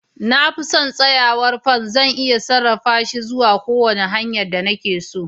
Na fi son tsayawar fan, zan iya sarrafa shi zuwa kowace hanya da nake so.